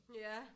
Ja